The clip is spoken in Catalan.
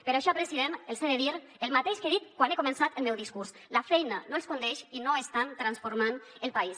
per això president els he de dir el mateix que he dit quan he començat el meu discurs la feina no els condeix i no estan transformant el país